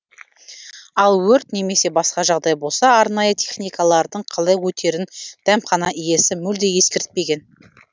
ал өрт немесе басқа жағдай болса арнайы техникалардың қалай өтерін дәмхана иесі мүлде ескертпеген